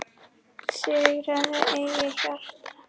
Sigraðu eigið hjarta